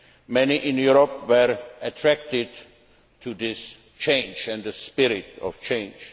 Many in Europe were attracted to this change and the spirit of change.